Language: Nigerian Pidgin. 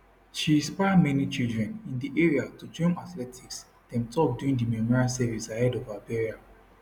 she inspire many children in di area to join athletics dem tok during di memorial service ahead of her burial